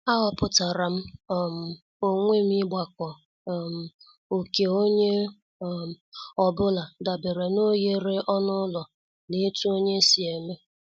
Aghoputaram um onwe m igbako um oké onye um ọ bụla dabere n' oghere ọnụ ụlọ na etu onye si eme ihe.